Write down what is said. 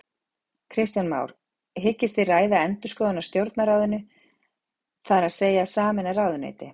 Kristján Már: Hyggist þið ræða endurskoðun á Stjórnarráðinu, þar að segja sameina ráðuneyti?